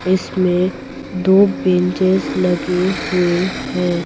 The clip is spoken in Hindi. इसमें दो बेंचेस लगे हुए हैं ।